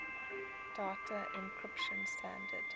data encryption standard